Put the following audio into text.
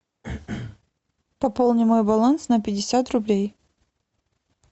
пополни мой баланс на пятьдесят рублей